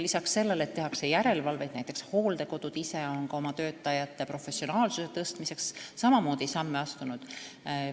Peale selle, et tehakse järelevalvet, on ka hooldekodud ise oma töötajate professionaalsuse tõstmiseks teatud samme astunud.